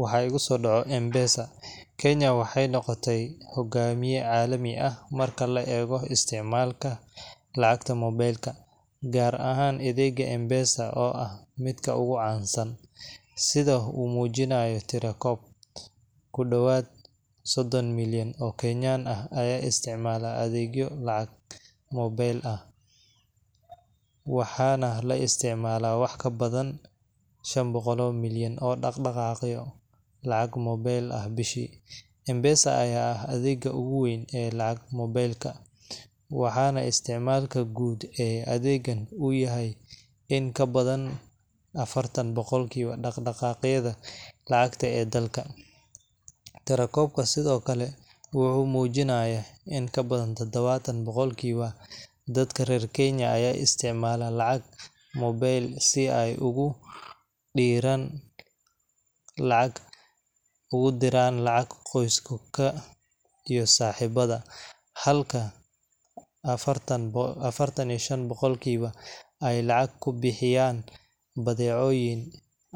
Waxaa igusoo dhaco mpesa Kenya waxay noqotay hogaamiye caalami ah marka la eego isticmaalka lacagta moobilka, gaar ahaan adeegga M-Pesa oo ah midka ugu caansan. Sida ay muujinayaan tirakoobyo, ku dhawaad soddon milyan oo Kenyans ah ayaa isticmaala adeegyo lacag moobil ah, waxaana la isticmaalaa wax ka badan shan boqolo milyan oo dhaqdhaqaaqyo lacag moobil ah bishii. M-Pesa ayaa ah adeegga ugu weyn ee lacag moobilka, waxaana isticmaalka guud ee adeeggan uu yahay in ka badan affartan dhaqdhaqaaqyada lacagta ee dalka. Tirakoobka sidoo kale wuxuu muujinayaa in kabadan tadawattan boqolkiiba dadka reer Kenya ay isticmaalaan lacag moobil si ay ugu diraan lacag qoysaka iyo saaxiibada, halka affartan iyo shan boqolkiba ay lacag ku bixiyaan badeecooyin